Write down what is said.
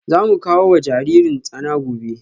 Za mu kawo wa jaririn tsana gobe